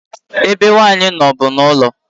Ebe nwanyị nọ bu n'ụlọ.